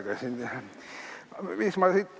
Mis ma siit ...?